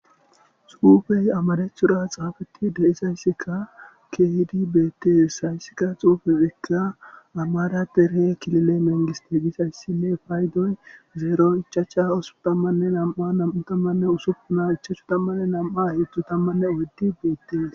xufey amarethura xaafetti de7isayssikka keydi beettees hayssika xuufefekka amara derhe kilile mengiste gisayssinne faydoy zeero ichacha osuppun tammanne nam7a nam7u tammanne usuppuna ichachu tammanne nam7a heedzu tammanne odydi beettees